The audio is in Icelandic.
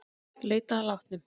Leitað að látnum